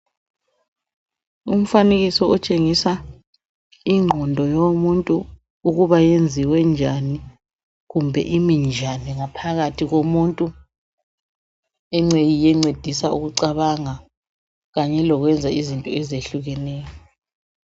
Umfanekiso otshengisa ingqondo yomuntu, ukuba yenziwe njani, kumbe iimi njani, ngaphakathi komuntu. Engceye yiyo encedisa ukucabanga, kanye lokwenza izinto ezehlukeneyo.